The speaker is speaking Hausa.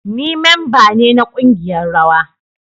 Ni memba ne na kungiyar rawa